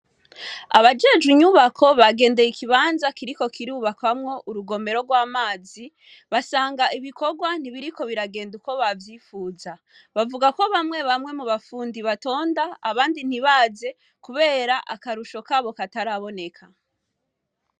Abajejwe inyubako bagendeye ikibanza kiriko kirubakwamwo urugomero gw'amazi basanga ibikogwa ntibiriko biragenda uko bavyipfuza, bavuga ko bamwebamwe mubafundi batonda abandi ntibaze kubera akarusho kabo kataraboneka.